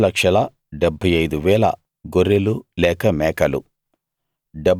6 75000 గొర్రెలు లేక మేకలు